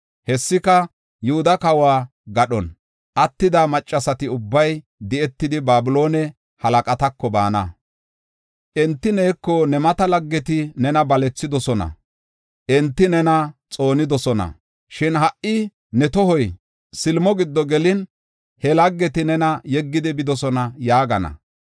Hessika, Yihuda kawo gadhon attida maccasati ubbay di7etidi, Babiloone halaqatako baana. Enti neeko, ‘Ne mata laggeti nena balethidosona; enti nena xoonidosona. Shin ha77i ne tohoy silimo giddo gelin, he laggeti nena yeggidi bidosona’ yaagana.